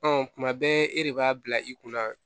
kuma bɛɛ e de b'a bila i kunna